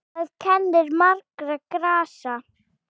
Þar kennir margra grasa.